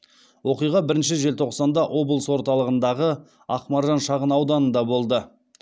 оқиға бірінші желтоқсанда облыс орталығындағы ақмаржан шағын ауданында болды